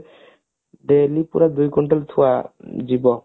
daily ପୁରା ଦୁଇ quintal ଥୁଆ ଯିବ